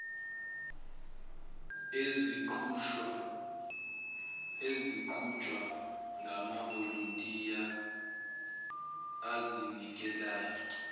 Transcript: eziqhutshwa ngamavolontiya azinikelayo